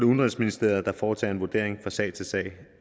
udenrigsministeriet der foretager en vurdering fra sag til sag